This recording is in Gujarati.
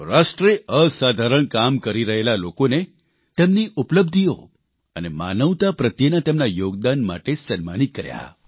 રાષ્ટ્રે અસાધારણ કામ કરી રહેલા લોકોને તેમની ઉપલબ્ધિઓ અને માનવતા પ્રત્યેના તેમના યોગદાન માટે સન્માનિત કર્યા